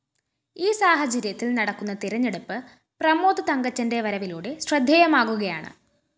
ഈ സാഹചര്യത്തില്‍ നടക്കുന്ന തെരഞ്ഞെടുപ്പ് പ്രമോദ് തങ്കച്ചന്റെ വരവിലൂടെ ശ്രദ്ധേയമാകുകയാണ്